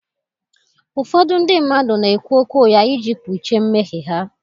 Ụfọdụ ndị mmadụ na-ekwu okwu ugha iji kpuchie mmehie ha.